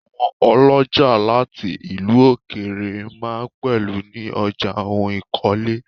Àwọn ọlọ́jà láti ìlú òkèrè máa ń pẹlu ní ọjà oun ìkọ́lé.